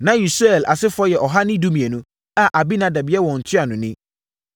Na Usiel asefoɔ yɛ ɔha ne dumienu (112) a Aminadab yɛ wɔn ntuanoni.